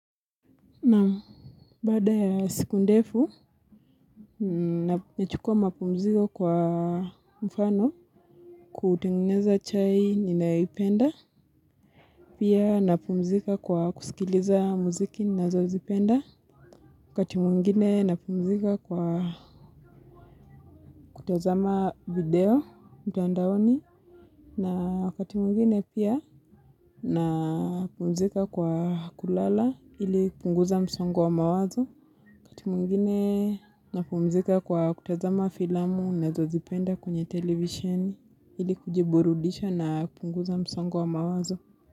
Naam baada ya siku ndefu, nachukua mapumzika kwa mfano kutengeneza chai ninayoipenda. Pia napumzika kwa kusikiliza muziki nazozipenda. Wakati mwingine napumzika kwa kutazama video mtandaoni. Na wakati mwingine pia napumzika kwa kulala ili punguza msongo wa mawazo. Wakati mwingine napumzika kwa kutazama filamu nazo zipenda kwenye television hili kujiburudisha na kupunguza msongo wa mawazo.